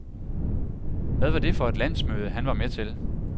Hvad var det for et landsmøde, han var med til?